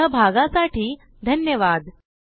सहभागासाठी धन्यवाद